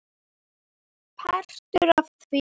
Partur af því?